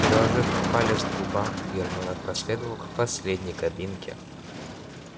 приложив палец к губам гермиона проследовала к последней кабинке